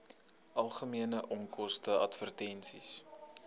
algemene onkoste advertensies